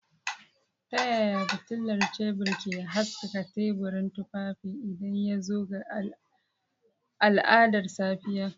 Ta yaya fitilar tebur ke haskaka teburin tufafi idan ya zo ga al'adar safiya?